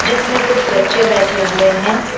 जिसमें कुछ बच्चे बैठें हुएं हैं।